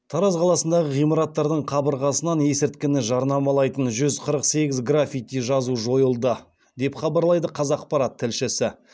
тараз қаласындағы ғимараттардың қабырғасынан есірткіні жарнамалайтын жүз қырық сегіз граффити жазу жойылды деп хабарлайды қазақпарат тілшісі